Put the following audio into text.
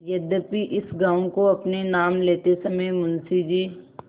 यद्यपि इस गॉँव को अपने नाम लेते समय मुंशी जी